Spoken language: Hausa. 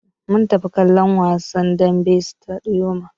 Mun tafi kallon wasar dambe a sitadiyom.